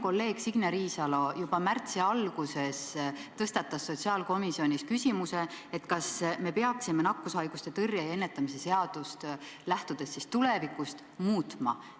Kolleeg Signe Riisalo juba märtsi alguses tõstatas sotsiaalkomisjonis küsimuse, kas me peaksime nakkushaiguste ennetamise ja tõrje seadust tulevikule mõeldes muutma.